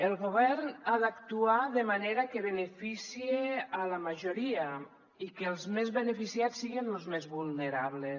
el govern ha d’actuar de manera que beneficie a la majoria i que els més beneficiats siguen los més vulnerables